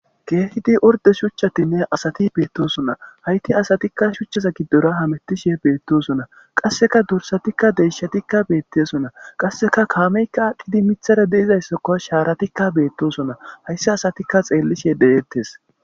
keehidi orde shuchchatinne asati beettosona hayti asatikka shuchchaza giddora hamettishe beettosona qasseka dursatikka deyshatikka beettesona qasseka kaameyka aqqidi mithara deizayssakko shaaratikka beettosona hayssi asatikka xeellishe deyettes